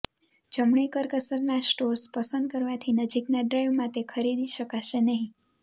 જમણી કરકસરનાં સ્ટોર્સ પસંદ કરવાથી નજીકના ડ્રાઈવમાં તે ખરીદી શકાશે નહીં